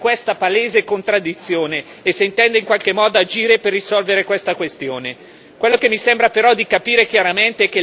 Vorrei chiedere quindi alla Commissione come interpreta questa palese contraddizione e se intende in qualche modo agire per risolvere questa questione.